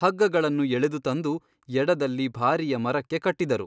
ಹಗ್ಗಗಳನ್ನು ಎಳೆದು ತಂದು ಎಡದಲ್ಲಿ ಭಾರಿಯ ಮರಕ್ಕೆ ಕಟ್ಟಿದರು.